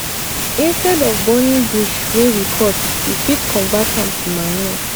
instead of burning bush wey we cut we fit convert am to manure